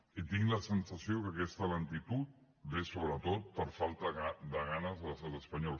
i tinc la sensació que aquesta lentitud ve sobretot per falta de ganes de l’estat espanyol